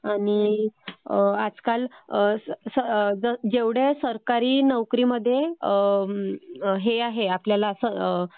आणि आजकाल जेवढे सरकारी नोकरी मध्ये हे आहे आपल्याला